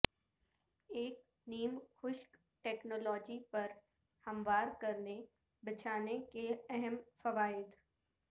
ایک نیم خشک ٹیکنالوجی پر ہموار کرنے بچھانے کے اہم فوائد